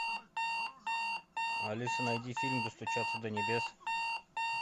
алиса найди фильм достучаться до небес